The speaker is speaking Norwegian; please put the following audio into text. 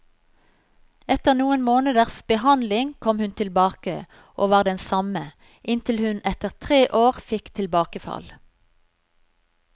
Etter noen måneders behandling kom hun tilbake, og var den samme, inntil hun etter tre år fikk tilbakefall.